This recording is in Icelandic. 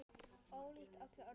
Ólíkt öllu öðru.